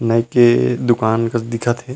नाइ के दुकान कस दिखत हे।